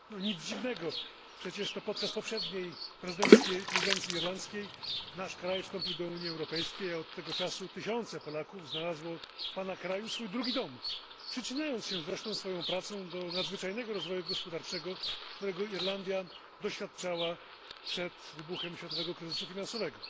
Nic dziwnego przecież to podczas poprzedniej prezydencji irlandzkiej nasz kraj wstąpił do Unii Europejskiej, a od tego czasu tysiące Polaków znalazło w Pana kraju swój drugi dom, przyczyniając się zresztą swoją pracą do nadzwyczajnego rozwoju gospodarczego, którego Irlandia doświadczała przed wybuchem światowego kryzysu finansowego.